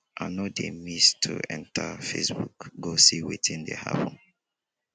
i no dey miss to enta facebook go see wetin dey happen.